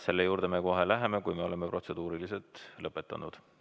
Selle juurde me kohe läheme, kui me oleme protseduurilised küsimused lõpetanud.